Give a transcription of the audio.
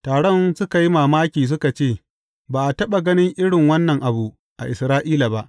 Taron suka yi mamaki suka ce, Ba a taɓa ganin irin wannan abu a Isra’ila ba.